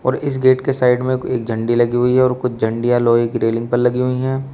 ओर इस गेट के साइड में एक झड़ी लगी हुई है और कुछ झंडिया लोहे की रेलिंग पर लगी हुई है।